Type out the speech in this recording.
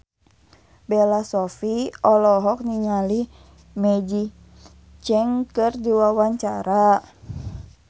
Bella Shofie olohok ningali Maggie Cheung keur diwawancara